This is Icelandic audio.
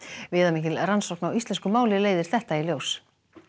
viðamikil rannsókn á íslensku máli leiðir þetta í ljós